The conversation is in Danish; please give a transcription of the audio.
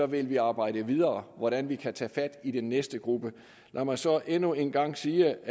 vil vi arbejde videre hvordan vi kan tage fat i den næste gruppe lad mig så endnu en gang sige